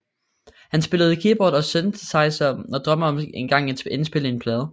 Han spiller keyboard og synthesizer og drømmer om engang at indspille en plade